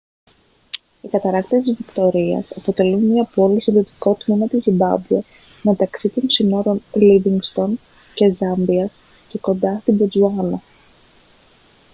οι καταρράκτες της βικτωρίας αποτελούν μια πόλη στο δυτικό τμήμα της ζιμπάμπουε μεταξύ των συνόρων λίβινγκστον και ζάμπιας και κοντά στη μποτσουάνα